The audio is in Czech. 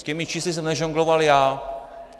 S těmi čísly jsem nežongloval já.